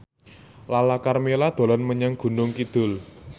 Lala Karmela dolan menyang Gunung Kidul